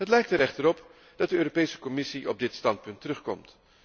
Het lijkt er echter op dat de Europese Commissie op dit standpunt terugkomt.